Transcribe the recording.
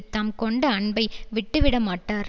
தாம் கொண்ட அன்பை விட்டுவிடமாட்டார்